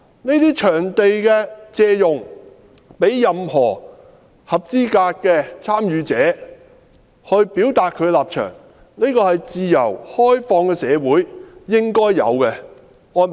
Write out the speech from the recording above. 借用場地給任何合資格的參與者表達他的立場，這是自由開放的社會應該有的安排。